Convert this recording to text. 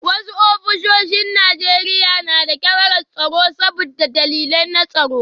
Wasu ofisoshin Najeriya na da kyamarar tsaro saboda dalilai na tsaro